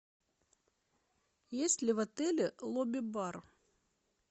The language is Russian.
есть ли в отеле лобби бар